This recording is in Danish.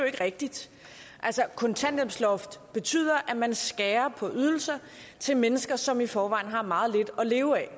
ikke rigtigt altså kontanthjælpsloftet betyder at man skærer på ydelser til mennesker som i forvejen har meget lidt at leve af